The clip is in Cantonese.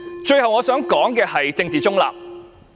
最後，我想說的是政治中立。